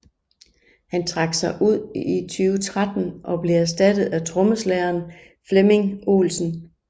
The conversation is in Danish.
Han trak sig ud i 2013 og blev erstattet af trommeslageren Flemming Olsen